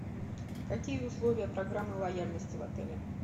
какие условия программы лояльности в отеле